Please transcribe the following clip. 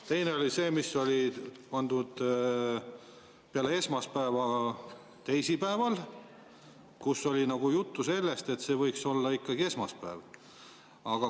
Teine on see, mis pandi peale esmaspäeva teisipäeval, kui oli juttu sellest, et see võiks olla ikkagi esmaspäev.